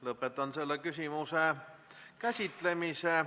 Lõpetan selle küsimuse käsitlemise.